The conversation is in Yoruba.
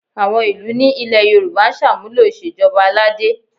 Àwọn ìlú ní ilẹ̀ Yorùbá ń ṣàmúlò ìṣèjọba aládé